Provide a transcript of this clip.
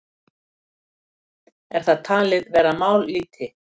Er það talið vera mállýti?